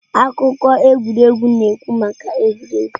Akụkọ egwuregwu na-ekwu maka egwuregwu.